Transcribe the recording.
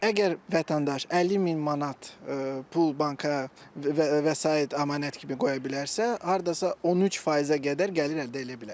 Əgər vətəndaş 50 min manat pul banka vəsait, əmanət kimi qoya bilərsə, hardasa 13%-ə qədər gəlir əldə eləyə bilər.